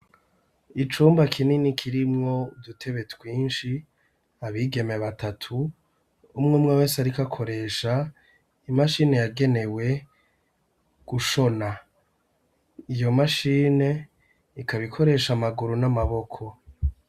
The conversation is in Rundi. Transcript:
Icumba kinini kirimwo udutebe twinshi abigeme batatu umwe wese ari akoresha imashini yagenewe gushona iyo mashine ikaba ikoresha amaguru n'amaboko